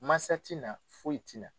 Mansa t'i na foyi tina